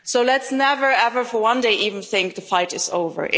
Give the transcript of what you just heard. So let's never ever for one day even think the fight